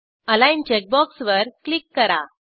align check बॉक्सवर click करा